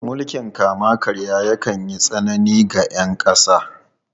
Mulkin kama-karya yakan yi tsanani ga ’yan kasa.